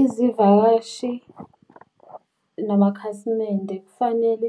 Izivakashi namakhasimende kufanele